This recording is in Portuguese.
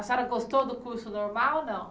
A senhora gostou do curso normal não?